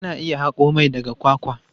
Ana iya haƙo mai daga kwakwa.